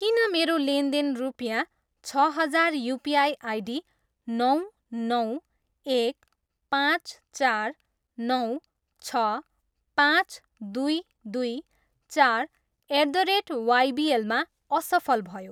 किन मेरो लेनदेन रुपियाँ छ हजार युपिआई आइडी नौ, नौ, एक, पाँच, चार, नौ, छ, पाँच, दुई, दुई, चार, एट द रेट वाइबिएलमा असफल भयो?